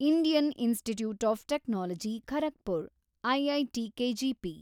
Indian Institute of Technology Kharagpur, IIT KGP